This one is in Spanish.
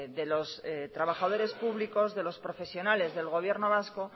de los trabajadores públicos de los profesionales del gobierno vasco